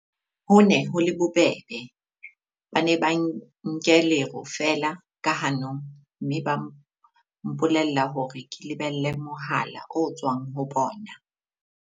"Ho ne ho le bobebe, ba ne ba nke lero feela ka hanong, mme ba mpolella hore ke lebelle mohala o tswang ho bona."